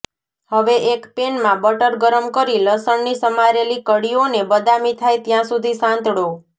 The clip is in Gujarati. હવે એક પેનમાં બટર ગરમ કરી લસણની સમારેલી કળીઓને બદામી થાય ત્યાં સુધી સાંતળો